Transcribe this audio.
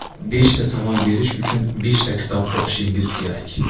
Beshta savol berish uchun beshta kitob o‘qishingiz kerak.